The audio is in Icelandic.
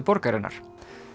borgarinnar